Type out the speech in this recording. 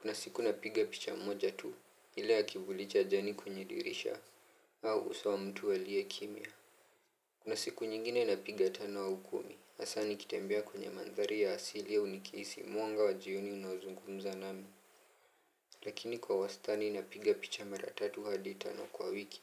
Kuna siku napiga picha mmoja tu. Ile ya kivuli cha jani kwenye dirisha au uso wa mtu aliye kimya. Kuna siku nyingine napiga tano au kumi. Hasa ni kitembea kwenye mandhari ya asili au nikisi muanga wa jioni unaozungumza nami. Lakini kwa wastani napiga picha mara tatu hadi tano kwa wiki.